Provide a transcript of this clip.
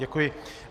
Děkuji.